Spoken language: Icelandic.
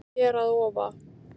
Hér að ofa